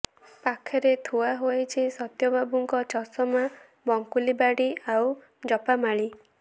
ପାଖରେ ଥୁଆ ହୋଇଛି ସତ୍ୟ ବାବୁଙ୍କ ଚଷମା ବଙ୍କୁଳି ବାଡ଼ି ଆଉ ଜପା ମାଳି